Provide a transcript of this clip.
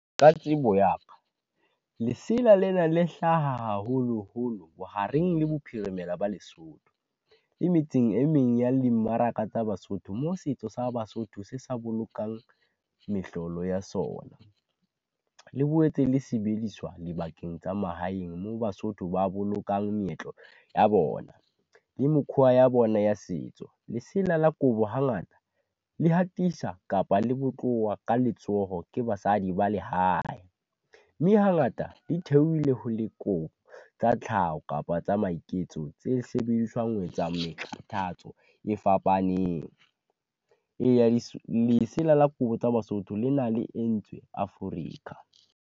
Ka tsebo ya ka, lesela lena le hlaha haholoholo bohareng le bophirimela ba Lesotho, le metseng e meng ya dimmaraka tsa Basotho mo setso sa Basotho se sa bolokang mehlolo ya sona. Le boetse le sebediswa dibakeng tsa mahaeng moo Basotho ba bolokang meetlo ya bona, le mokhwa ya bona ya setso. Lesela la kobo hangata le hatisa kapa le bo ka letsoho ke basadi ba lehae, mme hangata di theohile ho le tsa tlhaho kapa tsa maiketso, tse sebediswang ho etsa meqhatatso e fapaneng. Eya lesela la kobo tsa Basotho le na le entswe Afrika.